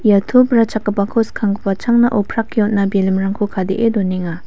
ia to brachakgipako skanggipa changna oprake on·a balloon-rangko kadee donenga.